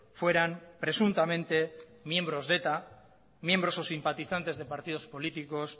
fueran presuntamente miembros de eta miembros o simpatizantes de partido políticos